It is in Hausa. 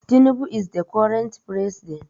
tunubu is the current president